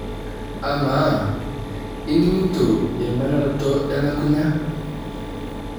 Amaa ining'ito emanaroto elukunya?